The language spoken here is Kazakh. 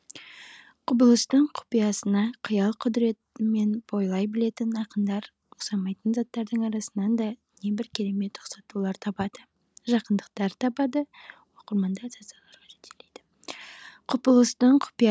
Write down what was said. құбылыстың құпиясына қиял құдіретімен бойлай білетін ақындар ұқсамайтын заттардың арасынан да небір керемет ұқсатулар табады жақындықтар табады оқырманды ассоциацияларға жетелейді құбылыстың құпия